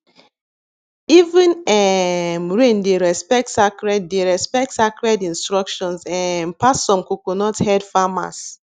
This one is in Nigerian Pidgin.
even um rain dey respect sacred dey respect sacred instructions um pass some coconuthead farmers